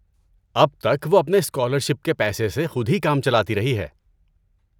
اب تک وہ اپنے اسکالر شپ کے پیسے سے خود ہی کام چلاتی رہی ہے۔